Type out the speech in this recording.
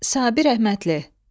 Sabir Rəhmətli.